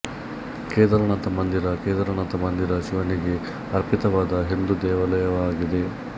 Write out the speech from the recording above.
ಕೇದಾರನಾಥ ಮಂದಿರ ಕೇದಾರನಾಥ ಮಂದಿರ ಶಿವನಿಗೆ ಅರ್ಪಿತವಾದ ಹಿಂದೂ ದೇವಾಲಯವಾಗಿದೆ